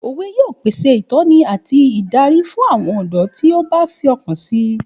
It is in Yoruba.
Òwe yóò pèsè ìtọ́ni àti ìdarí fún àwọn ọ̀dọ́ tí ó bá fi ọkàn si